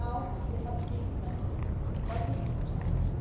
Now they have to be implemented, of course, and this will be a challenge.